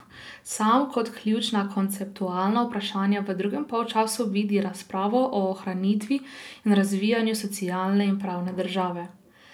Sam kot ključna konceptualna vprašanja v drugem polčasu vidi razpravo o ohranitvi in razvijanju socialne in pravne države.